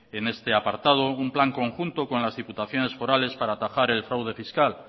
en este apartado un plan conjunto con las diputaciones forales para atajar el fraude fiscal